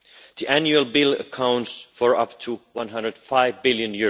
The annual bill accounts for up to EUR 105 billion.